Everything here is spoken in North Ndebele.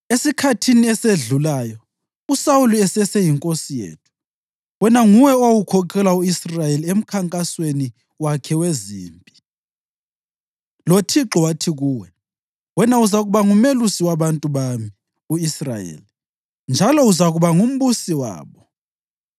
Esikhathini esedlulayo, uSawuli eseseyinkosi yethu, wena nguwe owawukhokhela u-Israyeli emkhankasweni wakhe wezimpi. LoThixo wathi kuwe, ‘Wena uzakuba ngumelusi wabantu bami u-Israyeli, njalo uzakuba ngumbusi wabo.’ ”